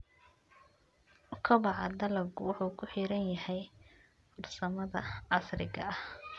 Kobaca dalaggu wuxuu ku xiran yahay farsamada casriga ah.